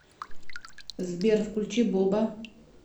сбер включи бобба